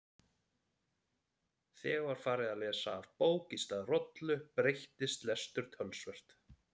Þegar farið var að lesa af bók í stað rollu breyttist lestur töluvert.